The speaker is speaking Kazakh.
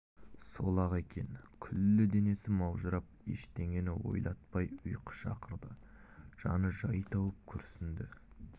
сол-ақ екен күллі денесі маужырап ештеңені ойлатпай ұйқы шақырды жаны жай тауып күрсінді